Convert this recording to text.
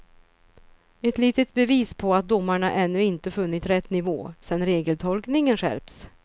Ett litet bevis på att domarna ännu inte funnit rätt nivå sedan regeltolkningen skärpts.